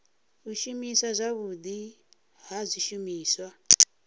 u shumiswa zwavhudi ha zwishumiswa